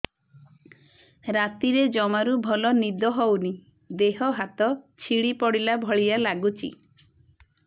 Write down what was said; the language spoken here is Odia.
ରାତିରେ ଜମାରୁ ଭଲ ନିଦ ହଉନି ଦେହ ହାତ ଛିଡି ପଡିଲା ଭଳିଆ ଲାଗୁଚି